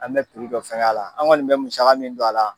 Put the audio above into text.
An bɛ dɔ fɛngɛ a la an kɔni bɛ musaka min don a la.